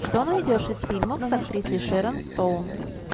что найдешь из фильмов с актрисой шерон стоун